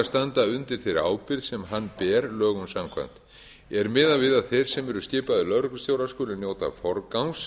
að standa undir þeirri ábyrgð sem hann ber lögum samkvæmt er miðað við að þeir sem eru skipaðir lögreglustjórar skuli njóta forgangs